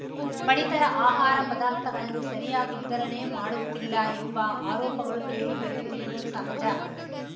ಪಡಿತರ ಆಹಾರ ಪದಾರ್ಥಗಳನ್ನು ಸರಿಯಾಗಿ ವಿತರಣೆ ಮಾಡುತ್ತಿಲ್ಲ ಎಂಬ ಆರೋಪಗಳು ಕೇಳಿ ಬರುತ್ತಿರುವುದು ಸಹಜ